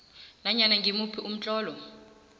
nanyana ngimuphi umtlolo